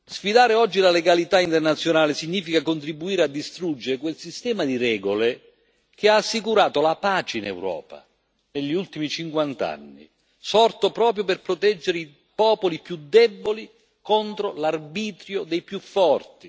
Sfidare oggi la legalità internazionale significa contribuire a distruggere quel sistema di regole che ha assicurato la pace in Europa negli ultimi cinquant'anni, sorto proprio per proteggere i popoli più deboli contro l'arbitrio dei più forti.